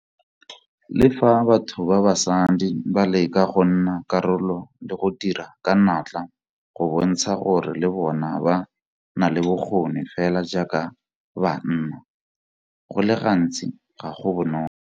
Le fa batho ba basadi ba leka go nna karolo le go dira ka natla go bontsha gore le bona ba na le bokgoni fela jaaka ba nna, go le gantsi ga go bonolo.